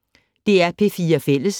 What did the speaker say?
DR P4 Fælles